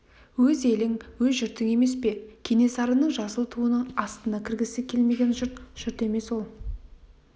өз елің өз жұртың емес пе кенесарының жасыл туының астына кіргісі келмеген жұрт жұрт емес ол